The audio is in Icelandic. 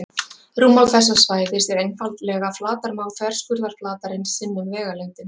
rúmmál þessa svæðis er einfaldlega flatarmál þverskurðarflatarins sinnum vegalengdin